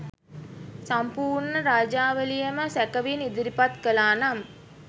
සම්පුර්ණ රාජාවලියම සැකෙවින් ඉදිරිපත් කලානම්